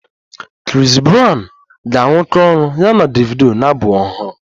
Chris brown ga-arụkọ ọrụ ya na Davido na abụ ọhụrụ